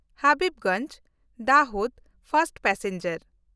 ᱦᱟᱵᱤᱵᱽᱜᱚᱧᱡᱽ-ᱫᱟᱦᱳᱫ first passenger